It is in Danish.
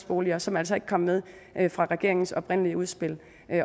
boliger som altså ikke kom med fra regeringens oprindelige udspil